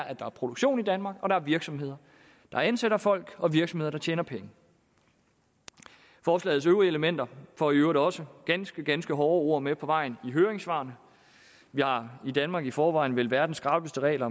at der er produktion i danmark og der er virksomheder der ansætter folk og virksomheder der tjener penge forslagets øvrige elementer får i øvrigt også ganske ganske hårde ord med på vejen i høringssvarene vi har i danmark i forvejen vel verdens skrappeste regler